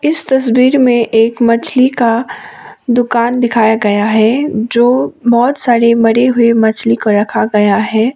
इस तस्वीर में एक मछली का दुकान दिखाया गया है जो बहोत सारे मरे हुए मछली को रखा गया है।